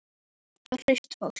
Þetta er ungt og hraust fólk.